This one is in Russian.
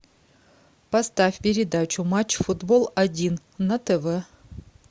поставь передачу матч футбол один на тв